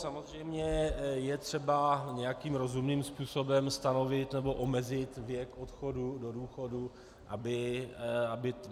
Samozřejmě je třeba nějakým rozumným způsobem stanovit nebo omezit věk odchodu do důchodu, aby...